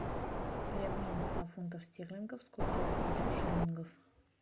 при обмене ста фунтов стерлингов сколько я получу шиллингов